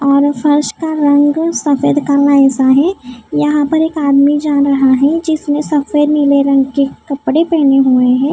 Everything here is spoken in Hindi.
और फर्श का रंग सफेद काला ऐसा है यहां पर एक आदमी जा रहा है जिसने सफेद नीले रंग के कपड़े पहने हुए हैं।